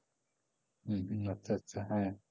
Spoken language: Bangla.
হম হম আচ্ছা আচ্ছা, হ্যাঁ,